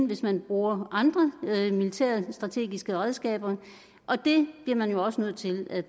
hvis man bruger andre militærstrategiske redskaber og det bliver man jo også nødt til at